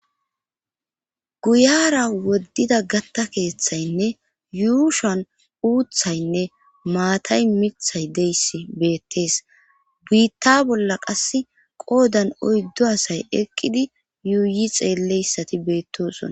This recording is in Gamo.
guyara woddida gatta keeththaynne yuushan uuthaynne maatay mithay deyss beettees buitta bolla qass qoodan oyddo asay eqqidi yuuyi xeelleyssati beettosona